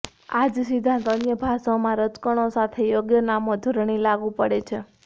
આ જ સિદ્ધાંત અન્ય ભાષાઓમાં રજકણો સાથે યોગ્ય નામો જોડણી લાગુ પડે છે